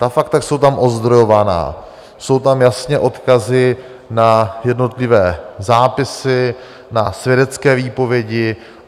Ta fakta jsou tam ozdrojovaná, jsou tam jasné odkazy na jednotlivé zápisy, na svědecké výpovědi.